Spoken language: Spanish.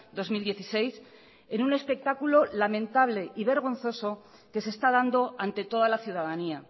dos mil dieciséis en un espectáculo lamentable y vergonzoso que se está dando ante toda la ciudadanía